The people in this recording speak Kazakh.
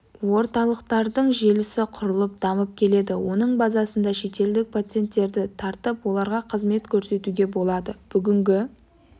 орталықтардың желісі құрылып дамып келеді оның базасында шетелдік пациенттерді тартып оларға қызмет көрсетуге болады бүгінгі